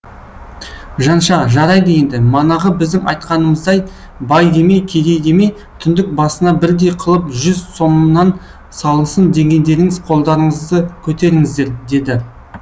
жанша жарайды енді манағы біздің айтқанымыздай бай демей кедей демей түндік басына бірдей қылып жүз сомнан салынсын дегендеріңіз қолдарыңызды көтеріңіздер деді